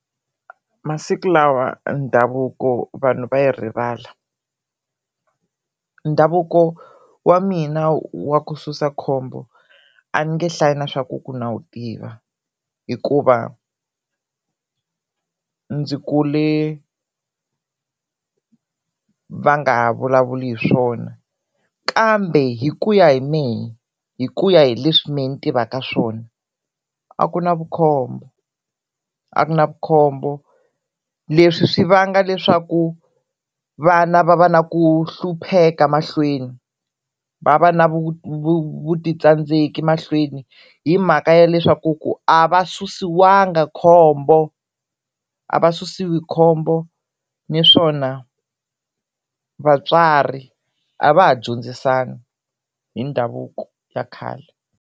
Masiku lawa ndhavuko vanhu va yi rivala, ndhavuko wa mina wa ku susa khombo a ni nge hlayi na swa ku ku na wu tiva hikuva ndzi kule va nga ha vulavuli hi swona kambe hikuya hi mehe hikuya hi leswi mehe ni tivaka swona a ku na vukhombo a ku na vukhombo, leswi swi vanga leswaku vana va va na ku hlupheka mahlweni va va na vutitsandzeki emahlweni hi mhaka ya leswaku ku a va susiwanga khombo, a va susiwi khombo naswona vatswari a va ha dyondzisani hi ndhavuko ya khale.